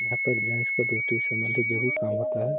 यहाँ पर जेन्ट्स का संबंधित जो भी काम होता है।